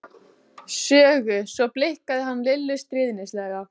Sögu., svo blikkaði hann Lillu stríðnislega.